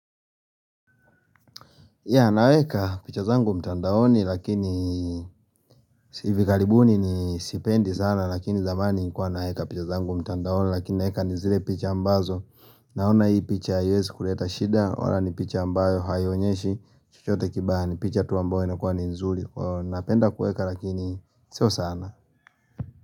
Ya naweka picha zangu mtandaoni lakini hivi karibuni ni sipendi sana lakini zamani nikuwa naweka picha zangu mtandaoni lakini naeka ni zile picha ambazo naona hii picha haiezi kuleta shida wala ni picha ambayo haionyeshi chochote kibaya ni picha tu ambayo inakua ni nzuri napenda kueka lakini sio sana.